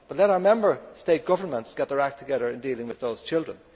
Let our Member State governments get their act together in dealing with those children.